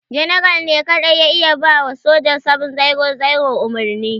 General ne kadai ya iya ba wa soja 700 umarni.